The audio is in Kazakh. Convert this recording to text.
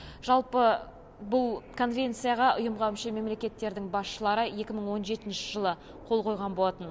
жалпы бұл конвенцияға ұйымға мүше мемлекеттердің басшылары екі мың он жетінші жылы қол қойған болатын